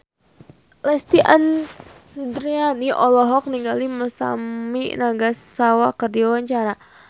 Lesti Andryani olohok ningali Masami Nagasawa keur diwawancara